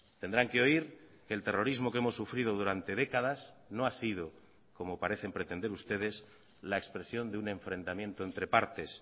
tendrán que oír que el terrorismo que hemos sufrido durante décadas no ha sido como parecen pretender ustedes la expresión de un enfrentamiento entre partes